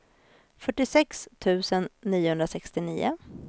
fyrtiosex tusen niohundrasextionio